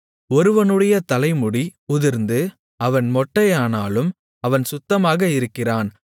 ஒருவனுடைய தலைமுடி உதிர்ந்து அவன் மொட்டையனானாலும் அவன் சுத்தமாக இருக்கிறான்